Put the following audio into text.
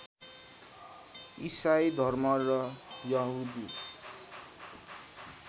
ईसाई धर्म र यहुदी